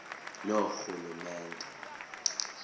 loorhulumente